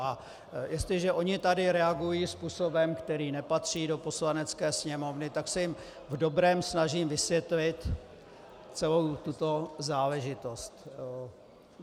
A jestliže oni tady reagují způsobem, který nepatří do Poslanecké sněmovny, tak se jim v dobrém snažím vysvětlit celou tuto záležitost.